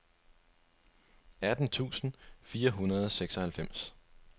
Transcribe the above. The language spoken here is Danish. atten tusind fire hundrede og seksoghalvfems